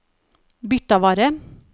Birtavarre